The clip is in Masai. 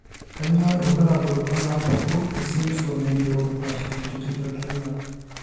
Kainyio irbulabul onaapuku esindirom eNeurofaciodigitorenal?